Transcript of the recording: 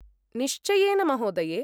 निश्चयेन महोदये!